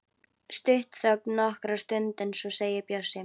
Stutt þögn nokkra stund en svo segir Bjössi